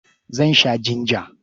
Zan sha jinja.